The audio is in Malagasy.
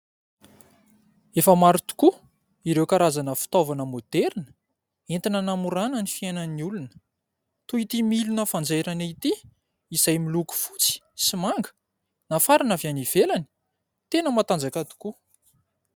Efa maro tokoa ireo karazana fitaovana moderina entina namorana ny fiainan'ny olona. Toy ity milina fanjairana ity, izay miloko fotsy sy manga nafarana avy any ivelany, tena matanjaka tokoa.